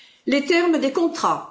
Les termes des contrats.